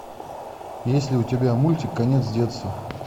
есть ли у тебя мультик конец детства